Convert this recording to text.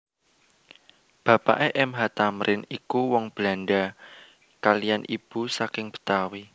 Bapake M H Thamrin iku wong Belandha kaliyan ibu saking Betawi